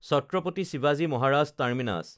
ছাত্ৰাপাতি শিৱাজী মহাৰাজ টাৰ্মিনাছ